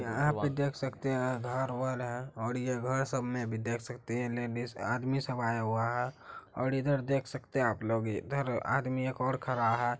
यहाँ पे देख सकते हैं ये घर वर हैं और ये घर सब में भी देख सकते हैं आदमी सब आये हुये हैं और इधर देख सकते हैं आप लोग ये और ईधर आदमी एक और खड़ा हैं।